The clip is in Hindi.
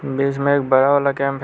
बीच में एक बड़ा वाला कैंप है।